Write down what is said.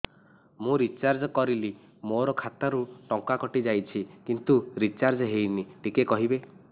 ମୁ ରିଚାର୍ଜ କରିଲି ମୋର ଖାତା ରୁ ଟଙ୍କା କଟି ଯାଇଛି କିନ୍ତୁ ରିଚାର୍ଜ ହେଇନି ଟିକେ କହିବେ